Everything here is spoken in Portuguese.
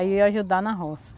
Aí eu ia ajudar na roça.